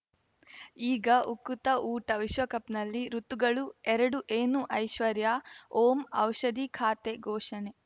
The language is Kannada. ಈಗ ಉಕುತ ಊಟ ವಿಶ್ವಕಪ್‌ನಲ್ಲಿ ಋತುಗಳು ಎರಡು ಏನು ಐಶ್ವರ್ಯಾ ಓಂ ಔಷಧಿ ಖಾತೆ ಘೋಷಣೆ